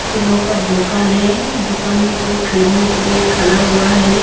फूलों का दुकान हैं दुकान में कोई खरीदने के लिए खड़ा हुआ हैं सामने।